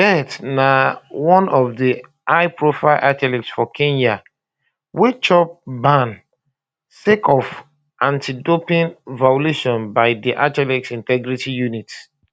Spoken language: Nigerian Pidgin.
bett na one of di highprofile athletes for kenya wey chop ban sake of antidoping violations by di athletics integrity unit